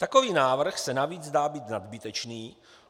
Takový návrh se navíc zdá být nadbytečný.